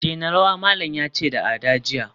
daina rawa, malam yace da Ada jiya